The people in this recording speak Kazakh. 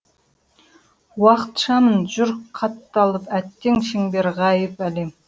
уақыт шам жүр қатталып әттең шеңбер ғайып әлем